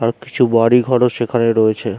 আর কিছু বাড়িঘরও সেখানে রয়েছে।